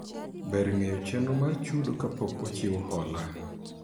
Ber ng'eyo chenro mar chudo kapok ochiw hola